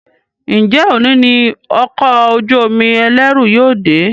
Njé òní ní Ọkọ̀ ojú-omi ẹlẹru yóò dé?